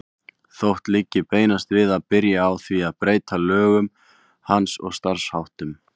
Þótti liggja beinast við að byrja á því að breyta lögum hans og starfsháttum.